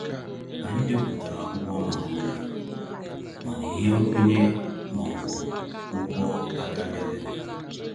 Anyị depụtara akwụkwọ maka uru, mana ihe nkwenye ma ọ bụ ụgwọ a ka bịabeghị.